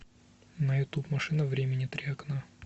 на ютуб машина времени три окна